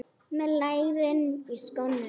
Með lærin í skónum.